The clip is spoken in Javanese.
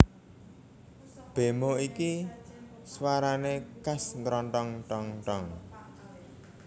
Bemo iki swarane khas ntontrong tong tong